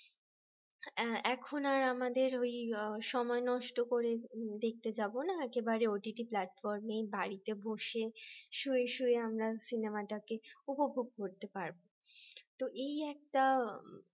এখন আর আমাদের ওই সময় নষ্ট করে দেখতে যাব না একেবারে OTT platform বাড়িতে বসে শুয়ে শুয়ে আমরা সিনেমাটাকে উপভোগ করতে পারবো